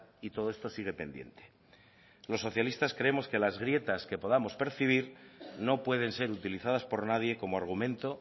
y todo esto sigue pendiente los socialistas creemos que las grietas que podamos percibir no pueden ser utilizadas por nadie como argumento